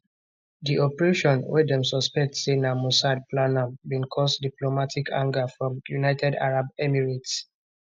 di operation wey dem suspect say na mossad plan am bin cause diplomatic anger from united arab emirates